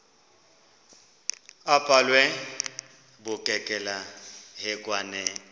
abhalwe bukekela hekwane